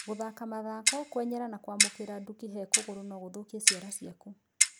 Gũthaka mathako, kwenyera na kũamũkĩra nduki he kũgũrũ no gũthũkie ciara ciaku.